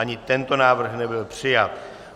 Ani tento návrh nebyl přijat.